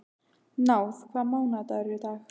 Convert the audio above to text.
Náð, hvaða mánaðardagur er í dag?